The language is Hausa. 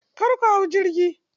Kar ku hau jirgi.